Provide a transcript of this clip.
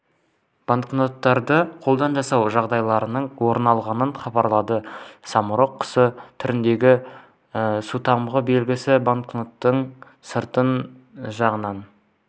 банкноттарды қолдан жасау жағдайларының орын алғанын хабарлады самұрық құсы түріндегі сутамғы белгісі банкноттың сырт жағынан